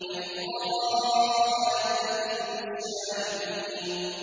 بَيْضَاءَ لَذَّةٍ لِّلشَّارِبِينَ